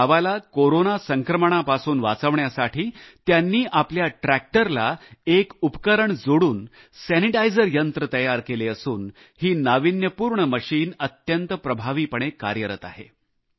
आपल्या गावाला कोरोना संक्रमणापासून वाचवण्यासाठी त्यांनी आपल्या ट्रॅक्टरला एक उपकरण जोडून स्वच्छता यंत्र तयार केले असून ही नाविन्यपूर्ण मशीन अत्यंत प्रभावीपणे कार्यरत आहे